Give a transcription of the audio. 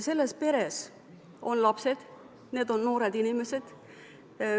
Selles peres on lapsed, need on noored inimesed.